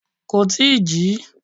Kò tí ì jí.